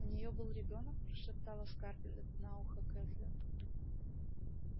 у неё был ребёнок прошептала скарлетт на ухо кэтлин